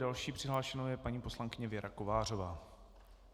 Další přihlášenou je paní poslankyně Věra Kovářová.